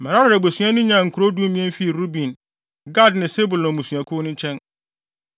Merari abusua no nyaa nkurow dumien fii Ruben, Gad ne Sebulon mmusuakuw no nkyɛn.